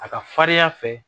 A ka farinya fɛ